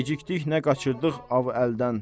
Gecikdik nə qaçırdıq av əldən.